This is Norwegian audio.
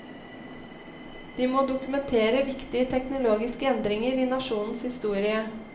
De må dokumentere viktige teknologiske endringer i nasjonens historie.